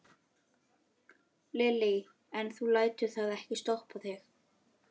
Lillý: En þú lætur það ekki stoppa þig?